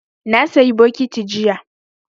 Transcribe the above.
Na sayi bokiti jiya